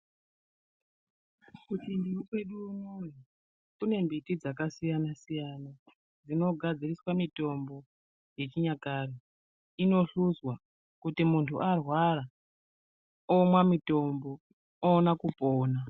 Kuchindau kwedu inono kune mbiti dzakasiyana-siyana dzinogadziriswa mitombo yechinyakare inohluzwa. Kuti muntu arwara omwa mitombo oona kupona.